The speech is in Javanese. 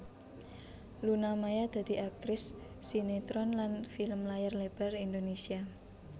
Luna Maya dadi aktris sinetron lan film layar lebar Indonésia